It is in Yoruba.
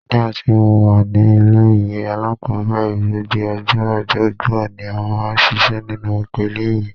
Nígbà tí mo wà ní ilé-ìwé alákọ́bẹ̀rẹ̀, gbogbo ọjọ́ ọjọ́bọ ni a máa ń ṣiṣẹ́ nínú oko ilé-ìwé